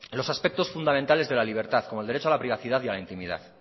los aspectos fundamentales de la libertad como el derecho a la privacidad y a la intimidad